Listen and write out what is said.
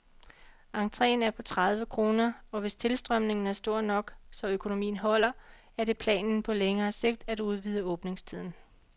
Entreen er på tredive kroner, og hvis tilstrømningen er stor nok, så økonomien holder, er det planen på længere sigt at udvide åbningstiden.